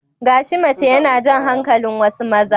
Gashi mace yana jan hankalin wasu maza.